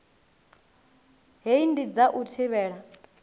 hei ndi dza u thivhela